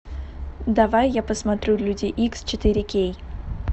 давай я посмотрю люди икс четыре кей